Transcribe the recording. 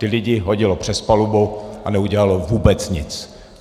Ty lidi hodili přes palubu a neudělali vůbec nic.